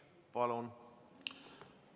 Palun!